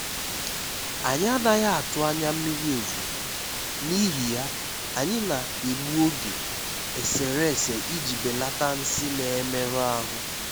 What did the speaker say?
Anyị́ ànaghị́ atụ́ ányá mmiri ozùzò, n'íhì yá, anyị́ na-ègbù ogè èsèrésè iji bèlàtá nsị́ nà-èmérụ́ áhụ́.